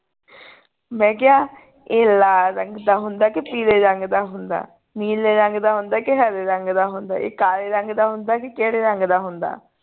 ਮੈਂ ਕਿਹਾ ਇਹ ਲਾਲ ਰੰਗ ਦਾ ਹੁੰਦੇ ਕੇ ਪੀਲੇ ਰੰਗ ਦਾ ਹੁੰਦੇ ਨੀਲੇ ਰੰਗ ਦਾ ਹੁੰਦੇ ਕੇ ਹਰਿ ਰੰਗ ਦਾ ਹੁੰਦੇ ਇਹ ਕਾਲੇ ਰੰਗ ਦਾ ਹੁੰਦੇ ਕੇ ਕਿਹੜੇ ਰੰਗ ਦਾ ਹੁੰਦੇ